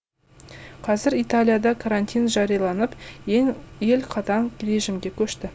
қазір италияда карантин жарияланып ел қатаң режимге көшті